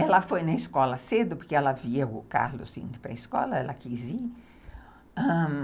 Ela foi na escola cedo, porque ela via o Carlos indo para a escola, ela quis ir, ãh